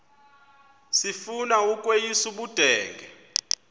sifuna ukweyis ubudenge